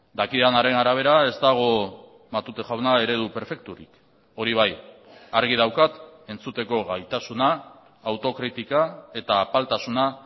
dakidanaren arabera ez dago matute jauna eredu perfekturik hori bai argi daukat entzuteko gaitasuna autokritika eta apaltasuna